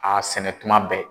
a sɛnɛ tuma bɛɛ